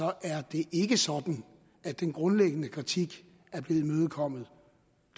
er det ikke sådan at den grundlæggende kritik er blevet imødekommet